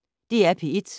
DR P1